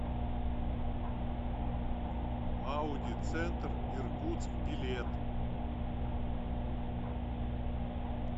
ауди центр иркутск билет